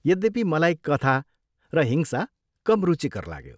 यद्यपि, मलाई कथा र हिंसा कम रुचिकर लाग्यो।